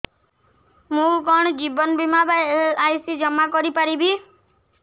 ମୁ କଣ ଜୀବନ ବୀମା ବା ଏଲ୍.ଆଇ.ସି ଜମା କରି ପାରିବି